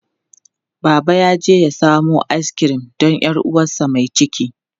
Baba yaje ya samo askirim don 'yar uwarsa mai ciki.